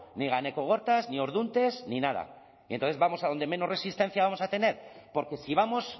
ni ganekogortas ni orduntes ni nada y entonces vamos adonde menos resistencia vamos a tener porque si vamos